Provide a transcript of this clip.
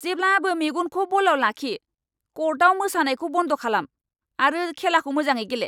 जेब्लाबो मेगनखौ बलआव लाखि! क'र्टआव मोसानायखौ बन्द खालाम आरो खेलाखौ मोजाङै गेले!